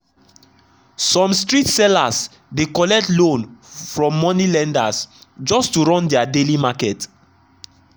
some street sellers dey collect loan from money lenders just to run their daily market.